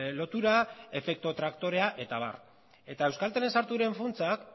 lotura efektu traktorea eta abar eta euskaltelen funtsa